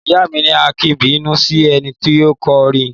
Ìyá mi ni; a kìí bínú si ẹni tí à kò rí